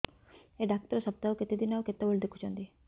ଏଇ ଡ଼ାକ୍ତର ସପ୍ତାହକୁ କେତେଦିନ ଆଉ କେତେବେଳେ ଦେଖୁଛନ୍ତି